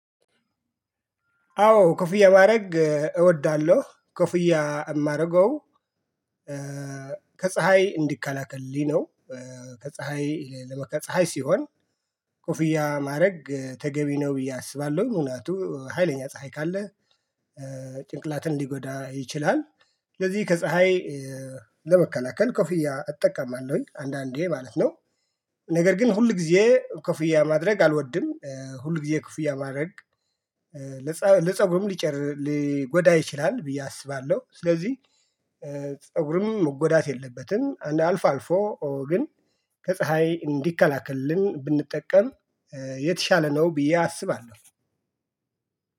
አዎ ኩፍያ ማድረግ እወዳለሁ ኩፍያ ማርገው። ከፀሀይ እንዲከላከልልኝ ነው። ከፀሀይ ፀሀይ ሲሆን ኮፍያ ማድረግ ተገቢ ነው ብዬ አስባለሁ ሁኔታው ሀይለኛ ፀሀይ ካለ ጭንቅላትን ሊጎዳ ይችላል። ስለዚህ ከፀሀይ ለመከላከል ኮፊያ እጠቀማለሁኝ አንዳንዴ ማለት ነው። ነገር ግን ሁል ጊዜ ኮፍያ ማድረግ አልወድም ሁል ጊዜ ኮፍያ ማድረግ። ለፀጉርም ሊጎዳ ይችላል ብዬ አስባለሁ። ስለዚህ ፀጉርም መጎዳት የለበትም አልፎ አልፎ ግን ከፀሀይ እንዲከላከልልን ብንጠቀም የተሻለ ነው። ብዬ አስባለሁ።